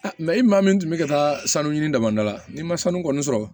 i maa min tun bɛ ka taa sanu ɲini damada la ni ma sanu kɔni sɔrɔ